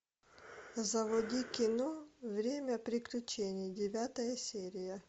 заводи кино время приключений девятая серия